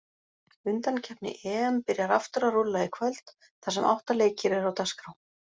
Undankeppni EM byrjar aftur að rúlla í kvöld þar sem átta leikir eru á dagskrá.